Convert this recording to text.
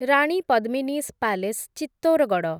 Rani Padmini's palace Chittorgarh